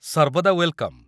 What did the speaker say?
ସର୍ବଦା ୱେଲ୍‌କମ୍!